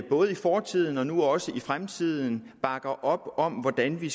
både i fortiden og nu også i fremtiden bakker op om hvordan vi